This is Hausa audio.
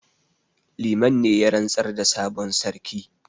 Liman ne ya rantsar da sabon sarki